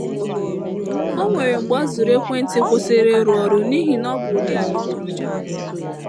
O nwere mgbe ọ zụrụ ekwentị kwụsịrị ịrụ ọrụ n’ihi na ọ bụ ụdị adịgboroja.